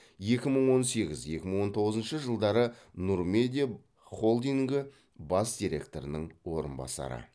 екі мың он сегіз екі мың он тоғызыншы жылдары нұр медиа холдингі бас директорының орынбасары